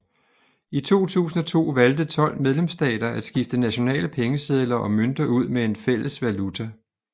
I 2002 valgte 12 medlemsstater at skifte nationale pengesedler og mønter ud med en fælles valuta